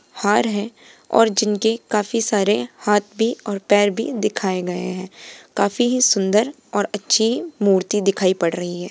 हार है और जिनके काफी सारे हाथ भी और पैर भी दिखाए गए हैं काफी ही सुंदर और अच्छी मूर्ति दिखाई पड़ रही है।